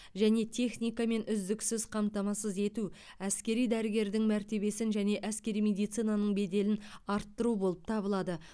және техникамен үздіксіз қамтамасыз ету әскери дәрігердің мәртебесін және әскери медицинаның беделін арттыру болып табылады